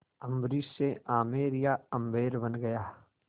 अम्बरीश से आमेर या आम्बेर बन गया